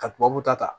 Ka tubabuw ta ta